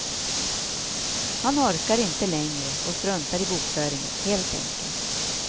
Han orkar inte längre och struntar i bokföringen helt enkelt.